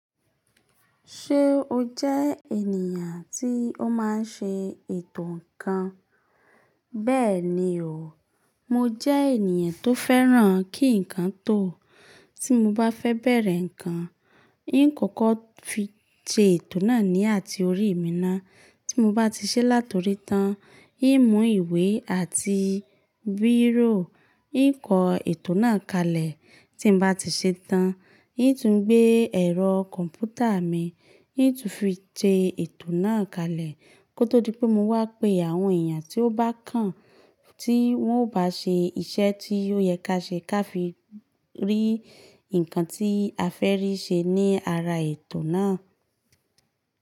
Ṣé o jẹ́ ènìyàn tí ó máa ń ṣe ètò ǹkan? Bẹ́ẹ̀ni o, mo jẹ́ ènìyàn tó fẹ́ràn kí ǹkan tò. Tí mo bá fẹ́ bẹ̀rẹ̀ ǹkan, n ó kọ́kọ́ fi sẹ ètò náà ní àti orí mi ná. Tí mo bá ti ṣe látorí tán, n ó mú ìwé àti bírò, n ó kọ ètò náà kalẹ̀. Tí mo bá ti ṣe tán, n ó tún gbé ẹ̀rọ kọ̀ǹpútà mi, n ó tún fi sẹ ètò náà kalẹ̀ kó tó di pé mo wá pe àwọn èèyàn tí ó bá kàn tí wọ́n ó bá ṣe iṣẹ́ tí ó yẹ kí a ṣe kí a fi rí ǹkan tí a fẹ́ rí ṣe ní ara ètò náà.